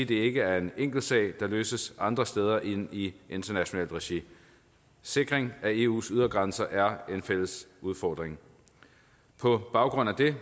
det ikke er en enkel sag der kan løses andre steder end i internationalt regi sikring af eus ydre grænser er en fælles udfordring på baggrund af det